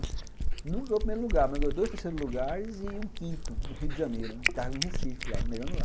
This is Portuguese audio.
Não ganhou o primeiro lugar, mas ganhou dois terceiros lugares e um quinto, no Rio de Janeiro, Recife.